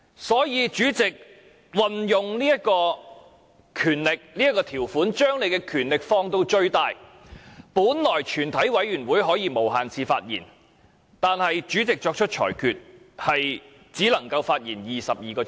所以，主席運用這項條款，把權力放到最大，在全體委員會審議階段本來是可以無限次發言的，但主席作出裁決說只能發言22小時。